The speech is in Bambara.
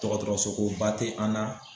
Tɔgɔtɔrɔsoko ba tɛ an na